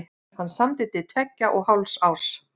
Hann samdi til tveggja og hálfs árs.